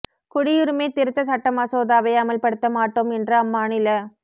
குடியுரிமை திருத்த சட்ட மசோதாவை அமல் படுத்த மாட்டோம் என்று அம்மாநில